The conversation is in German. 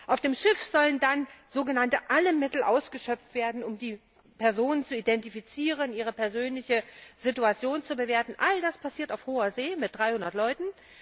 Auf dem Schiff sollen dann alle Mittel ausgeschöpft werden, um die Personen zu identifizieren, ihre persönliche Situation zu bewerten. All das passiert auf Hoher See, mit 300 Leuten.